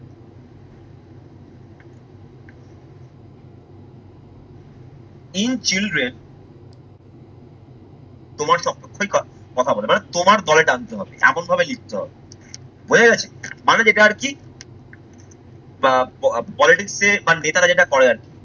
in children তোমার সব পক্ষই কথা বলে মানে তোমার দলে টানতে হবে এমন ভাবে লিখতে হবে বোঝা গেছে? মানে যেটা আর কি? বা politics এ মানে নেতারা যেটা করে আরকি।